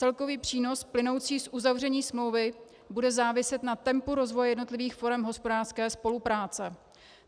Celkový přínos plynoucí z uzavření smlouvy bude záviset na tempu rozvoje jednotlivých forem hospodářské spolupráce.